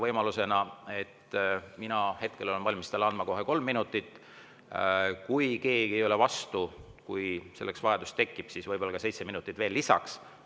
Mina olen valmis talle andma kohe kolm minutit ning kui keegi ei ole vastu ja kui selleks vajadus tekib, siis võib-olla seitse minutit veel lisaks.